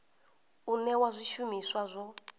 u newa zwi shumiswa zwo